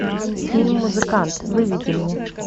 фильм музыкант выведи мне